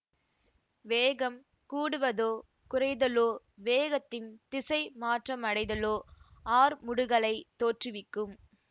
வேகம் கூடுவதோ குறைதலோ வேகத்தின் திசை மாற்றமடைதலோ ஆர்முடுகலைத் தோற்றுவிக்கும்